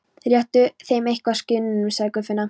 Réttu þeim eitthvað, skinnunum, sagði Guðfinna.